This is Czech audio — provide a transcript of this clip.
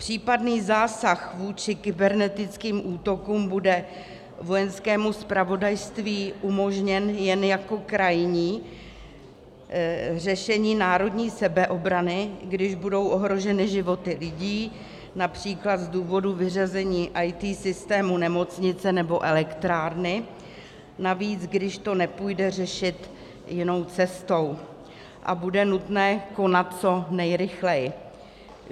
Případný zásah vůči kybernetickým útokům bude Vojenskému zpravodajství umožněn jen jako krajní řešení národní sebeobrany, když budou ohroženy životy lidí, například z důvodu vyřazení IT systému nemocnice nebo elektrárny, navíc když to nepůjde řešit jinou cestou a bude nutné konat co nejrychleji.